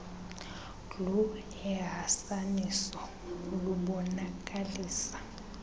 glu ehasaniso lubonakalisa